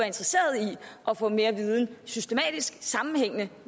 interesseret i at få mere systematisk sammenhængende